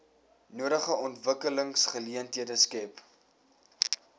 nodige ontwikkelingsgeleenthede skep